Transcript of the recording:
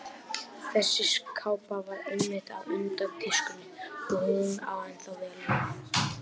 Þessi kápa var einmitt á undan tískunni og hún á ennþá vel við.